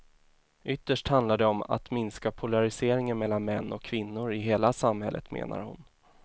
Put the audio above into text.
Ytterst handlar det om att minska polariseringen mellan män och kvinnor i hela samhället, menar hon.